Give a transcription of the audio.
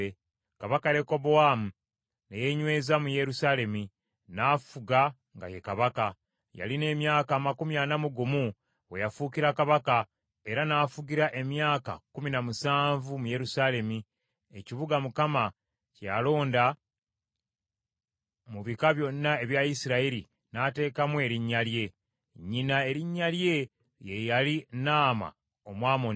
Kabaka Lekobowaamu ne yeenyweza mu Yerusaalemi, n’afuga nga ye kabaka. Yalina emyaka amakumi ana mu gumu we yafuukira kabaka, era n’afugira emyaka kkumi na musanvu mu Yerusaalemi, ekibuga Mukama kye yalonda mu bika byonna ebya Isirayiri n’ateekamu Erinnya lye. Nnyina erinnya lye ye yali Naama Omwamoni.